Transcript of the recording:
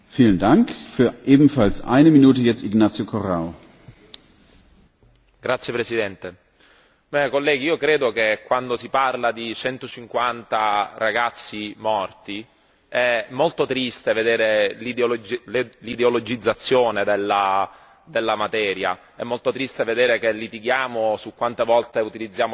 Signor Presidente, onorevoli colleghi, credo che quando si parla di 150 ragazzi morti è molto triste vedere l'ideologizzazione della materia, è molto triste vedere che litighiamo su quante volte utilizziamo la parola cristiani nella risoluzione